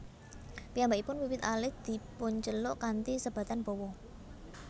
Piyambakipun wiwit alit dipunceluk kanthi sebatan Bowo